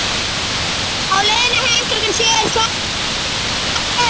Á leiðinni heim klukkan sjö er slæða yfir litunum.